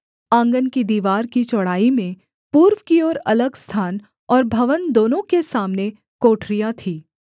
आँगन की दीवार की चौड़ाई में पूर्व की ओर अलग स्थान और भवन दोनों के सामने कोठरियाँ थीं